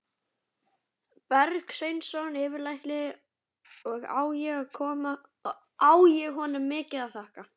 Bergsveinsson yfirlækni og á ég honum mikið að þakka.